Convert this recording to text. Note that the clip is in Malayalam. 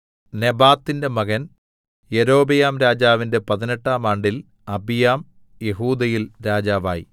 നെബാത്തിന്റെ മകൻ യൊരോബെയാംരാജാവിന്റെ പതിനെട്ടാം ആണ്ടിൽ അബിയാം യെഹൂദയിൽ രാജാവായി